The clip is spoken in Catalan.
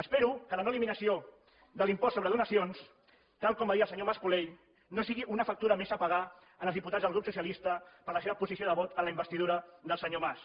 espero que la no eliminació de l’impost sobre donacions tal com va dir el senyor mas colell no sigui una factura més a pagar als diputats del grup socialista per la seva posició de vot en la investidura del senyor mas